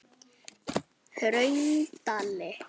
Hraundali